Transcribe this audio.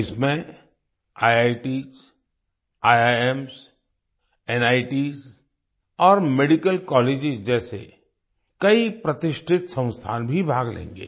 इसमें IITs IIMs NITs और medical colleges जैसे कई प्रतिष्ठित संस्थान भी भाग लेंगे